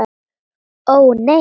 Ó, nei.